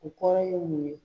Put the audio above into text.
O kɔrɔ ye mun ye?